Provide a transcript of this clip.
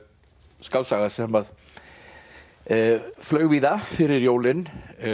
skáldsaga sem að flaug víða fyrir jólin